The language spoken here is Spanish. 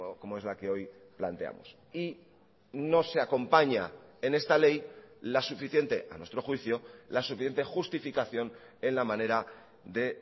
como es la que hoy planteamos y no se acompaña en esta ley la suficiente a nuestro juicio la suficiente justificación en la manera de